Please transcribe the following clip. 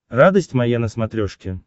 радость моя на смотрешке